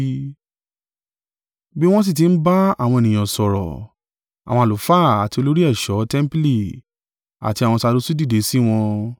Bí wọn sì tí ń bá àwọn ènìyàn sọ̀rọ̀, àwọn àlùfáà àti olórí ẹ̀ṣọ́ tẹmpili àti àwọn Sadusi dìde sí wọn.